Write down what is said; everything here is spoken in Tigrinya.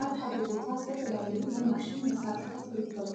አብ ሓደ ቦታ ዝተፈላለዩ ናይ ማሽን መሳርሒታት ይርከቡ፡፡